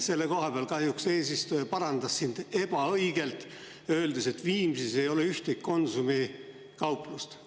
Selle koha peal kahjuks eesistuja parandas ebaõigelt öeldes, et Viimsis ei ole ühtegi Konsumi kauplust.